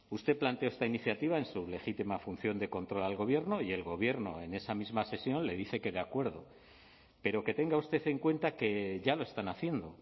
usted planteó esta iniciativa en su legítima función de control al gobierno y el gobierno en esa misma sesión le dice que de acuerdo pero que tenga usted en cuenta que ya lo están haciendo